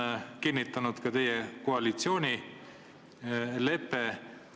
Seda kinnitab ka teie koalitsioonilepe.